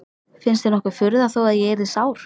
Finnst þér nokkur furða þó að ég yrði sár?